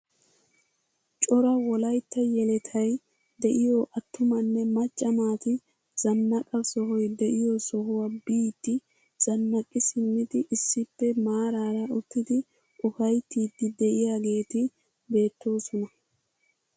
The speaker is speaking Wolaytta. Cora wolaytta yelettay de'iyoo attumanne macca naati zannaqa sohoy de'iyoo sohuwaa biidi zannaqi simmidi issippe maarara uttidi ufayttiidi de'iyaageti beettoosona.